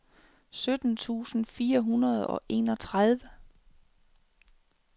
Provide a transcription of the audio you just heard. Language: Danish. sytten tusind fire hundrede og enogtredive